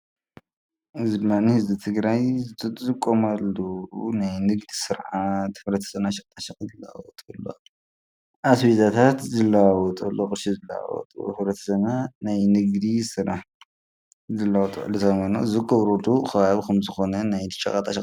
እዚ ድማ ህዝቢ ትግራይ ዝጥቀሙሉ ናይ ንግዲ ስር ዓት ሕብረተሰብና ሸቀጣሸቀጥ ዝለዋወጥሉ ፣አስቤዛታት ዝለዋወጥሉ ፣ቅርሺ ዝለዋውጥሉ ሕብረተሰብና ንግዲ ልውውጥ ዘገብረሉ ከባቢ እዩ ።